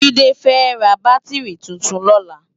Jide fè rá bátirí tútún lòlá